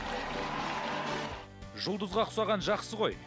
жұлдызға ұқсаған жақсы ғой